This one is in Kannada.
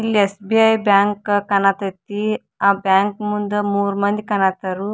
ಇಲ್ಲಿ ಎಸ್ಸ.ಬಿ.ಐ ಬ್ಯಾಂಕ್ ಕಾಣಕತ್ತಿ ಆ ಬ್ಯಾಂಕ್ ಮುಂದೆ ಮೂರ್ ಮಂದಿ ಕಾಣತ್ತಾರು .